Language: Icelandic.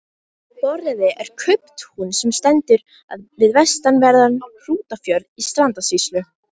Borðeyri er kauptún sem stendur við vestanverðan Hrútafjörð í Strandasýslu.